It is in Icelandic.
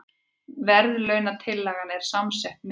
Verðlaunatillagan er samsett mynd